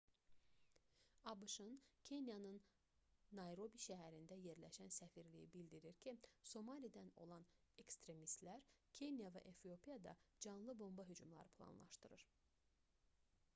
abş-ın kenyanın nayrobi şəhərində yerləşən səfirliyi bildirdi ki somalidən olan ekstremistlər kenya və efiopiyada canlı bomba hücumları planlaşdırır